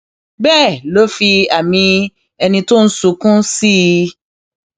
bẹẹ ló fi àmì ẹni tó ń sunkún sí i